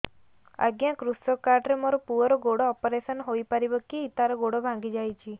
ଅଜ୍ଞା କୃଷକ କାର୍ଡ ରେ ମୋର ପୁଅର ଗୋଡ ଅପେରସନ ହୋଇପାରିବ କି ତାର ଗୋଡ ଭାଙ୍ଗି ଯାଇଛ